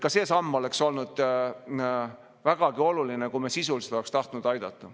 Ka see samm oleks olnud vägagi oluline, kui me sisuliselt oleksime tahtnud aidata.